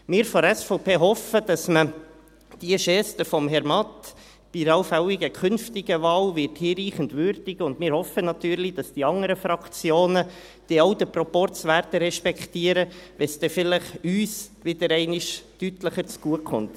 Wir von der SVP hoffen, dass man diese Geste von Herrn Matt bei einer allfälligen künftigen Wahl hinreichend würdigen wird, und wir hoffen natürlich, dass die anderen Fraktionen den Proporz dann auch respektieren werden, wenn es vielleicht uns wieder deutlicher zu Gute kommt.